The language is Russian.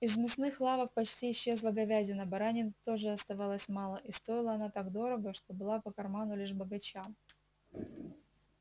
из мясных лавок почти исчезла говядина баранины тоже оставалось мало и стоила она так дорого что была по карману лишь богачам